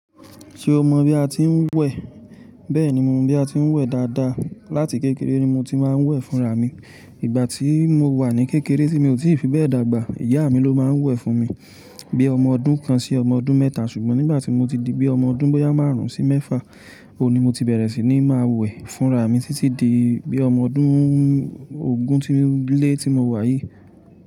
Ṣé o mọ bí a ti ń wẹ̀? Bẹ́ẹ̀ni mo mọ bí a ti ń wẹ̀ dáadáa. Láti kékeré ni mo ti máa ń wẹ̀ fún rà mí. Ìgbà tí mo wà ní kékeré tí mi ò tí fi bẹ́ẹ̀ dàgbà, ìyá mi ló máa ń wẹ̀ fún mi. Bí ọmọ ọdún kan sí ọmọ ọdún mẹ́ta, ṣùgbọ́n nígbà tí mo ti di bí ọmọ ọdún bóyá márùn-ún sí mẹ́fà, òun ni mo ti bẹ̀rẹ̀ sí ní máa wẹ̀ fún rà mí títí di bí ọmọ ọdún ogún tíńńlẹ́ tí mo wà yìí.